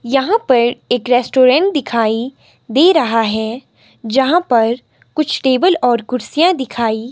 यहां पर एक रेस्टोरेंट दिखाई दे रहा है यहां पर कुछ टेबल और कुर्सियां दिखाई--